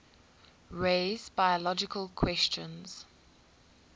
raise biological questions